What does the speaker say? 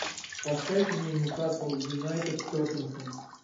поставь мне ньюкасл юнайтед тоттенхем